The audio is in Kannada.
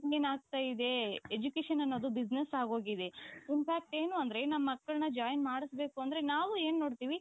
ಏನಾಗ್ತಾ ಇದೆ education ಅನ್ನೋದು business ಆಗೋಗಿದೆ. infact ಏನು ಅಂದ್ರೆ ನಮ್ಮಕ್ಕಳನ್ನ join ಮಾಡಿಸ ಬೇಕಂದ್ರೆ ನಾವು ಏನ್ ನೋಡ್ತೀವಿ ?